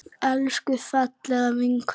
Elsku, fallega vinkona mín.